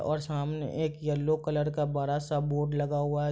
और सामने एक येलो कलर का बड़ा-सा बोर्ड लगा हुआ है।